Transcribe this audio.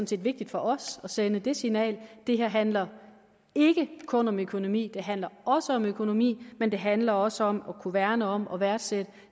set vigtigt for os at sende det signal det her handler ikke kun om økonomi det handler også om økonomi men det handler også om at kunne værne om og værdsætte